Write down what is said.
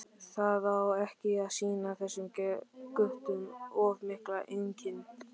Það á ekki að sýna þessum guttum of mikla linkind!